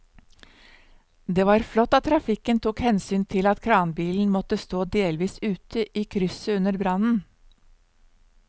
Det var flott at trafikken tok hensyn til at kranbilen måtte stå delvis ute i krysset under brannen.